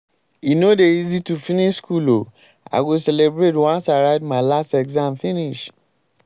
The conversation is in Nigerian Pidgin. e no dey easy to finish skool o i go celebrate once i write my last exam finish.